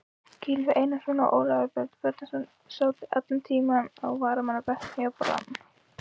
Gylfi Einarsson og Ólafur Örn Bjarnason sátu allan tímann á varamannabekknum hjá Brann.